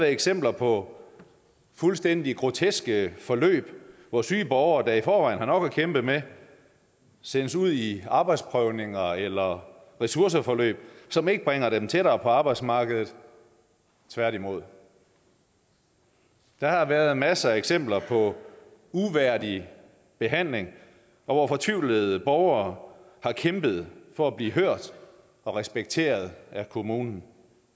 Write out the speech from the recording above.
eksempler på fuldstændig groteske forløb hvor syge borgere der i forvejen har nok at kæmpe med sendes ud i arbejdsprøvninger eller ressourceforløb som ikke bringer dem tættere på arbejdsmarkedet tværtimod der har været masser af eksempler på uværdig behandling hvor fortvivlede borgere har kæmpet for at blive hørt og respekteret af kommunen